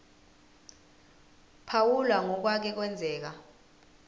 phawula ngokwake kwenzeka